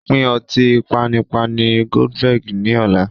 Pín ọtí panipani "Goldberg" ni ọ̀la.